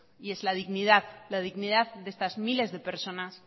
y es la dignidad de estas miles de personas